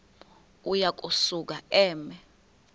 uya kusuka eme